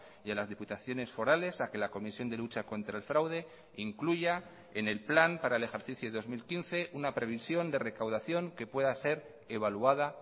y a las diputaciones forales a que la comisión de lucha contra el fraude incluya en el plan para el ejercicio dos mil quince una previsión de recaudación que pueda ser evaluada